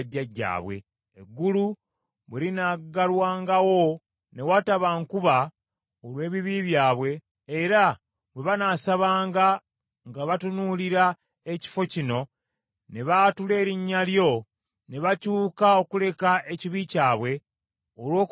“Eggulu bwe linaggalwangawo ne wataba nkuba, olw’ebibi byabwe, era bwe banasabanga nga batunuulira ekifo kino ne baatula erinnya lyo ne bakyuka okuleka ekibi kyabwe, olw’okubabonereza,